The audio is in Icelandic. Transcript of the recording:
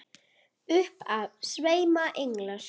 Upp af sveima englar.